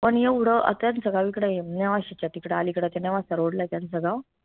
पन एवढं अं त्यांचं गावं इकडय अं तिकडं अलीकडं ते नेवासा road लाय त्यांचं गावं